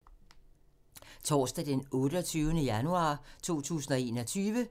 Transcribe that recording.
Torsdag d. 28. januar 2021